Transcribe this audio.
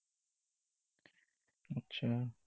আচ্ছা।